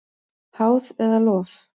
Háð eða lof?